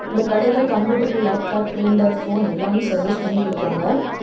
இந்த கடையில computer laptop printer phone எல்லாமே சர்வீஸ் பண்ணி கொடுப்பாங்க.